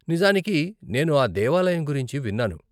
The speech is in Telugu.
నిజానికి, నేను ఆ దేవాలయం గురించి విన్నాను.